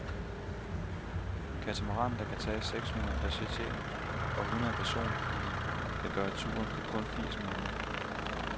Katamaranen, der kan tage seks hundrede passagerer og hundrede personbiler, kan gøre turen på kun firs minutter.